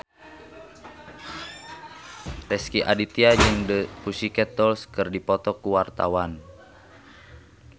Rezky Aditya jeung The Pussycat Dolls keur dipoto ku wartawan